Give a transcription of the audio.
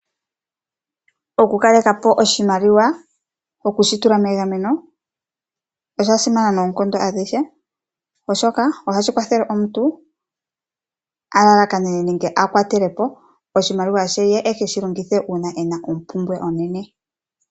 Okukaleka po oshimaliwa ,okushi tula megameno osha simana noonkondo adhihe oshoka ohashi kwathele omuntu a lalakanene nenge a kwatele po oshimaliwa she ye e keshi longithe uuna ena ompumbwe onene.